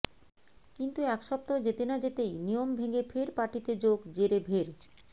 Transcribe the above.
কিন্তু এক সপ্তাহ যেতে না যেতেই নিয়ম ভেঙে ফের পার্টিতে যোগ জেরেভের